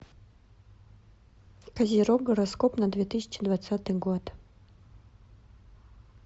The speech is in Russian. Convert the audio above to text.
козерог гороскоп на две тысячи двадцатый год